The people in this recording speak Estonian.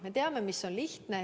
Me teame, mis on lihtne.